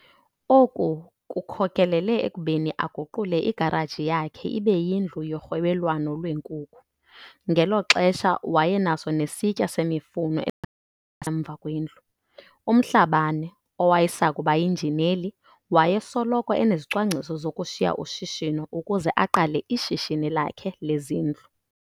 Oku kukhokelele ekubeni aguqule igaraji yakhe ibe yindlu yorhwebelwano lweenkukhu. Ngelo xesha wayenaso nesitiya semifuno esingasemva kwendlu. UMhlabane, owayesakuba yinjineli, wayesoloko enezicwangciso zokushiya ushishino ukuze aqale ishishini lakhe lezindlu.